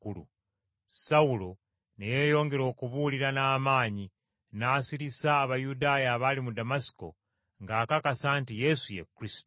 Sawulo ne yeeyongera okubuulira n’amaanyi n’asirisa Abayudaaya abaali mu Damasiko ng’akakasa nti Yesu ye Kristo.